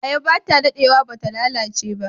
Ayaba ba ta dadewa ba ta lalace ba.